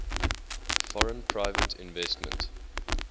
foreign private investment